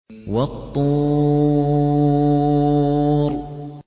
وَالطُّورِ